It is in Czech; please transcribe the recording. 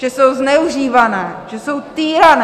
Že jsou zneužívané, že jsou týrané?